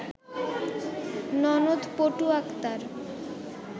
ননদ পটু আক্তার